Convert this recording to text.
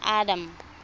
adam